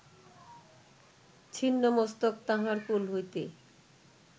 ছিন্ন মস্তক তাঁহার কোল হইতে